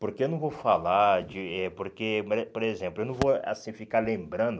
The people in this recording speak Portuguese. Porque eu não vou falar de... Porque, como é, por exemplo, eu não vou, assim, ficar lembrando...